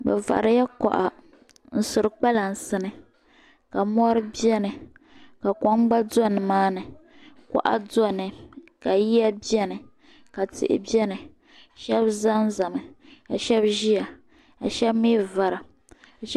Bi variya kuɣa n suri kpalansi ni ka mori bɛni ka kom gba do ni maani kuɣa do ni ka yiya bɛ ni ka tihi bɛ ni shɛb zan zami ka shɛb ziya ka shɛb mi vara.